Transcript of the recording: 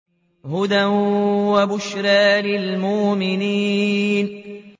هُدًى وَبُشْرَىٰ لِلْمُؤْمِنِينَ